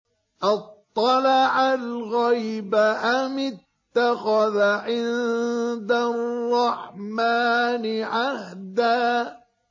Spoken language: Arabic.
أَطَّلَعَ الْغَيْبَ أَمِ اتَّخَذَ عِندَ الرَّحْمَٰنِ عَهْدًا